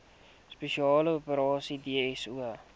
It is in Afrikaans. spesiale operasies dso